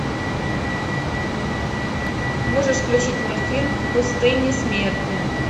можешь включить мультфильм в пустыне смерти